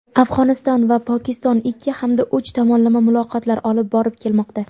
Afg‘oniston va Pokiston ikki hamda uch tomonlama muloqotlar olib borib kelmoqda.